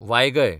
वायगय